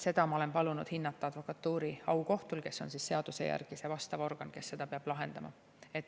Seda ma olen palunud hinnata advokatuuri aukohtul, kes on seaduse järgi see organ, kes seda peab lahendama.